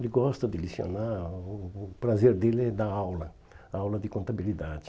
Ele gosta de lecionar, o o prazer dele é dar aula, aula de contabilidade.